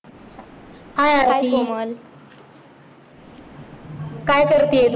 hi Komal काय करते तू.